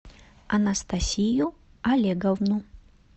анастасию олеговну